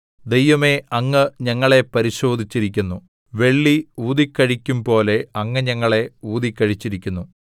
ദൈവമേ അങ്ങ് ഞങ്ങളെ പരിശോധിച്ചിരിക്കുന്നു വെള്ളി ഊതിക്കഴിക്കും പോലെ അങ്ങ് ഞങ്ങളെ ഊതിക്കഴിച്ചിരിക്കുന്നു